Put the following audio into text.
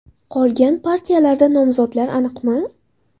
Qolgan partiyalarda nomzodlar aniqmi?”.